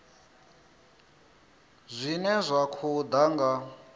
zwine zwa khou ḓa nga